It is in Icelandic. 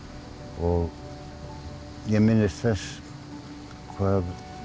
og ég minnist þess hvað